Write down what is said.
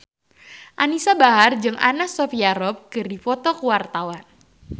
Anisa Bahar jeung Anna Sophia Robb keur dipoto ku wartawan